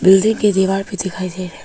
building के दीवार भी दिखाई दे रहे--